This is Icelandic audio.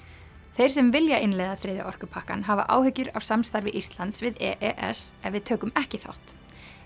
þeir sem vilja innleiða þriðja orkupakkann hafa áhyggjur af samstarfi Íslands við e s ef við tökum ekki þátt